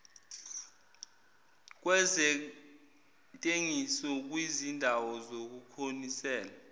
kwezentengiso kwizindawo zokunonisela